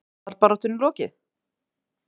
Fallbaráttunni lokið?